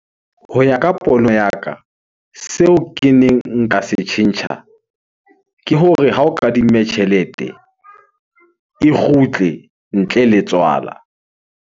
Ho ya ka pono ya ka, seo keneng nka se tjhentjha. Ke hore ha o kadimme tjhelete e kgutle ntle le tswala.